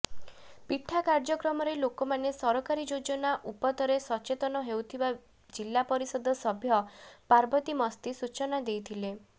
ପିଠା କାର୍ଯ୍ୟକ୍ରମରେ ଲୋକମାନେ ସରକାରୀ ଯୋଜନା ଉପତରେ ସଚେତନ ହେଉଥିବା ଜିଲ୍ଲାପରିଷଦ ସଭ୍ୟା ପାର୍ବତୀ ମସ୍ତି ସୂଚନା ଦେଇଥିଲେ